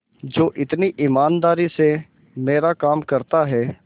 जो इतनी ईमानदारी से मेरा काम करता है